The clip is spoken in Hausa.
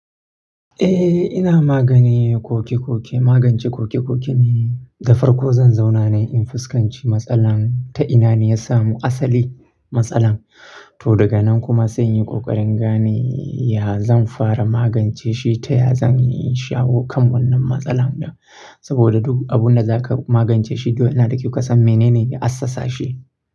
Eh ina magane koke koke, magance koke koke ne. Da farko zan zauna ne yi in fuskanci matsalar ta ina ne ya samo asali matsalar. To daga nan kuma sai in yi ƙoƙarin gane ya zan fara magance shi ta ya zan shawo kan wannan matsalar da. Saboda duk abun da zaka magance shi, dole yana da ki ka san mene ne ya assasa shi.